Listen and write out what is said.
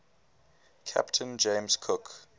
captain james cook